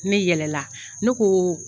Ne yɛlɛla ,ne ko